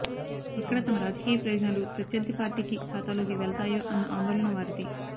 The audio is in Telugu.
ఎక్కడ తమ రాజకీయ ప్రయోజనాలు ప్రత్యర్థి పార్టీకి ఖాతాలోకి వెళ్తాయో అన్న ఆందోళన వారిది